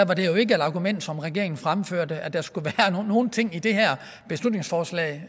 var det jo ikke et argument som regeringen fremførte altså at der skulle være nogle ting i det her beslutningsforslag